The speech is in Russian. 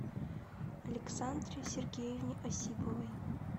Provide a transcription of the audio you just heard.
александре сергеевне осиповой